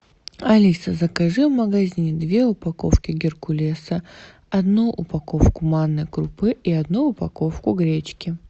алиса закажи в магазине две упаковки геркулеса одну упаковку манной крупы и одну упаковку гречки